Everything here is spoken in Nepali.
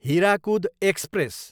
हिराकुद एक्सप्रेस